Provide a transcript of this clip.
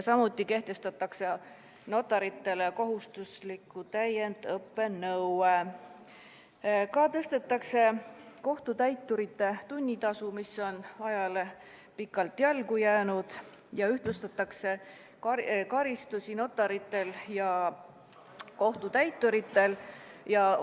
Samuti kehtestatakse notaritele kohustusliku täiendõppe nõue, tõstetakse kohtutäiturite tunnitasu, mis on ajale pikalt jalgu jäänud, ühtlustatakse notarite ja kohtutäiturite karistusi.